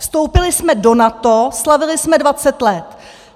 Vstoupili jsme do NATO, slavili jsme 20 let.